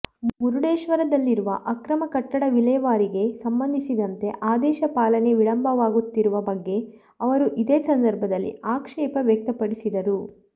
ಮುರುಡೇಶ್ವರದಲ್ಲಿರುವ ಅಕ್ರಮ ಕಟ್ಟಡ ವಿಲೇವಾರಿಗೆ ಸಂಬಂಧಿಸಿದಂತೆ ಆದೇಶ ಪಾಲನೆ ವಿಳಂಬವಾಗುತ್ತಿರುವ ಬಗ್ಗೆ ಅವರು ಇದೇ ಸಂದರ್ಭದಲ್ಲಿ ಆಕ್ಷೇಪ ವ್ಯಕ್ತಪಡಿಸಿದರು